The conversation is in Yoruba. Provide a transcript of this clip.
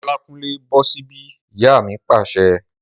Olákúnlé, bọ́ sí bí! Ìyá mi pàṣẹ